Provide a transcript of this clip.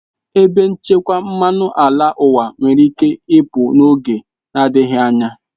Ebe nchekwa mmanụ ala ụwa nwere ike ịpụ n'oge na-adịghị anya.